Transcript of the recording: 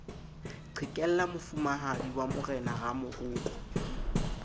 qhekella mofumahadi wa morena ramoroko